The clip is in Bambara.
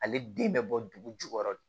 Ale den bɛ bɔ dugu jukɔrɔ